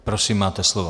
Prosím, máte slovo.